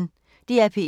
DR P1